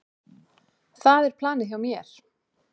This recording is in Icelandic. Það er planið hjá mér.